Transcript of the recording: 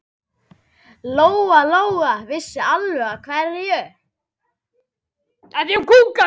Lóa-Lóa vissi alveg af hverju.